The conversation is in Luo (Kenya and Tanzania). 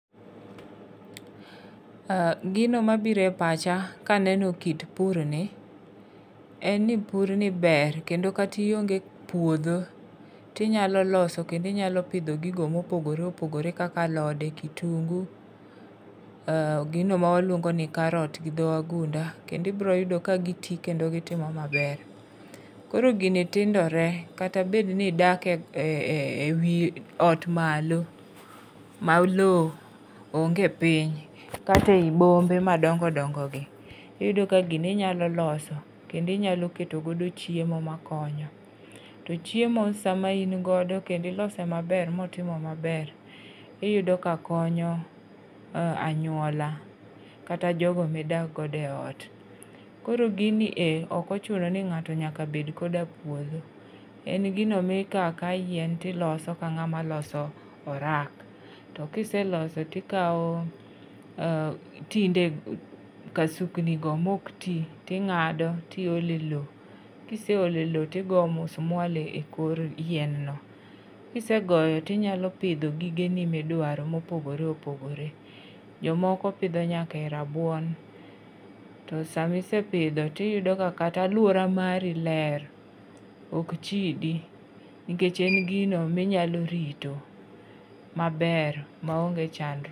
Gino mabire e pacha ka aneno kit pur ni, en ni pur ni ber. Kendo kata ionge puodho to inyalo loso, kendo inyalo pidho gigo mopogore opogore kaka alode, kitungu, um gino ma waluongo ni carrot gi dho wadunda. Kendo ibiro yudo ka giti kendo gitimo maber. Koro gini tindore, kata bed ni idake wi ot malo, ma lowo onge piny, kata ei bombe madongo dongo gi. Iyudo ka gini inyalo loso, kendo inyalo keto godo chiemo makonyo. To chiemo sama in godo kendo ilose maber, ma otimo maber, iyudo ka konyo, anyuola, kata jogo ma idak godo e ot. Koro gini e, ok ochuno ni ng'ato nyaka bed koda puodho. En gino ma ikawo akawa yien, tiloso ka ng'ama loso orak. To kiseloso to ikawo um tinde kasukni go ma ok ti, ting'ado, tiole lowo, Kiseolo lowo tigoyo musmwal e kor yien no. Kisegoyo, tinyalo pidho gige ni mdwaro mopogore opogore. Jomoko pidho nyaka rabuon. To sama isepidho, to iyudo ka kata alwora mari ler. Ok chidi. Nikech en gino minyalo rito maber, maonge chandruok.